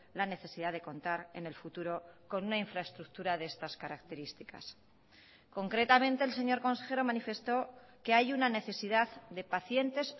la necesidad de contar en el futuro con una infraestructura de estas características concretamente el señor consejero manifestó que hay una necesidad de pacientes